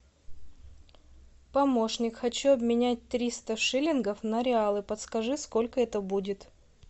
помощник хочу обменять триста шиллингов на реалы подскажи сколько это будет